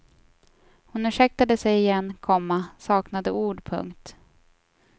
Hon ursäktade sig igen, komma saknade ord. punkt